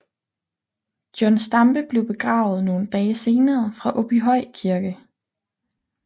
John Stampe blev begravet nogle dage senere fra Åbyhøj Kirke